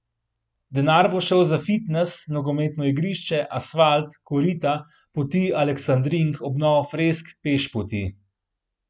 Denar bo šel za fitnes, nogometno igrišče, asfalt, korita, poti aleksandrink, obnovo fresk, pešpoti ...